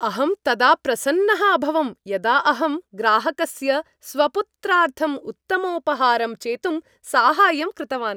अहं तदा प्रसन्नः अभवं यदा अहं ग्राहकस्य स्वपुत्रार्थम् उत्तमोपहारं चेतुं साहाय्यं कृतवान्।